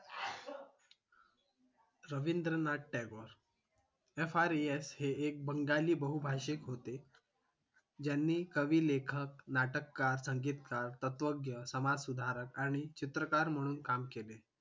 Rabindranath Tagore fres हे बंगाली बहुभाषिक होते. ज्यांनी कविलेखक नाटककार संगीतकार तत्वज्ञ समाजसुधारक आणि चित्रकार म्हणून काम केले